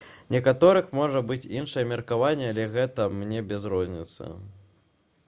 у некаторых можа быць іншае меркаванне але гэта мне без розніцы